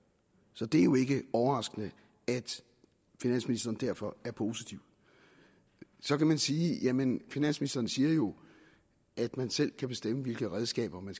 så det er jo ikke overraskende at finansministeren derfor er positiv så kan man sige jamen finansministeren siger jo at man selv kan bestemme hvilke redskaber man